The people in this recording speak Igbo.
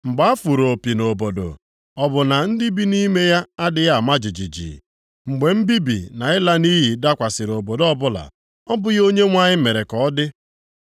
Mgbe a fụrụ opi nʼobodo, ọ bụ na ndị bi nʼime ya adịghị ama jijiji? Mgbe mbibi na ịla nʼiyi dakwasịrị obodo ọbụla ọ bụghị Onyenwe anyị mere ka ọ dị?